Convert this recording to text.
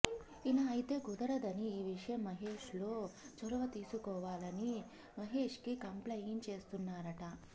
ఇలా అయితే కుదరదని ఈ విషయం మహేష్ లో చొరవ తీసుకోవాలని మహేష్కి కంప్లయింట్ చేస్తున్నారట